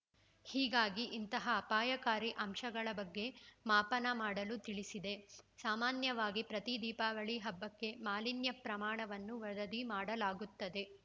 ಹೀಗಾಗಿ ಇಂತಹ ಅಪಾಯಕಾರಿ ಅಂಶಗಳ ಬಗ್ಗೆ ಮಾಪನ ಮಾಡಲು ತಿಳಿಸಿದೆ ಸಾಮಾನ್ಯವಾಗಿ ಪ್ರತಿ ದೀಪಾವಳಿ ಹಬ್ಬಕ್ಕೆ ಮಾಲಿನ್ಯ ಪ್ರಮಾಣವನ್ನು ವರದಿ ಮಾಡಲಾಗುತ್ತದೆ